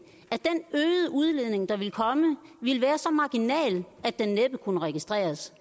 at udledning der ville komme ville være så marginal at den næppe kunne registreres